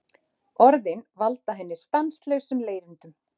Orðin valda henni stanslausum leiðindum.